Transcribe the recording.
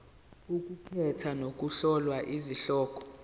ukukhetha nokuhlola izihloko